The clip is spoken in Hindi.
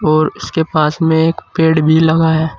और इसके पास में एक पेड़ भी लगा है।